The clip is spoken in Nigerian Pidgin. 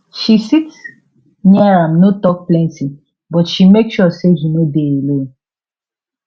she sit near am no talk plenty but she make sure say he no dey alone